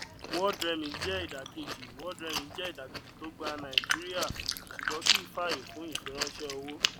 worldremit jẹ ìdàkejì worldremit jẹ ìdàkejì tó gba nàìjíríà ṣùgbón kì í fàyè fún ìfiránṣẹ owó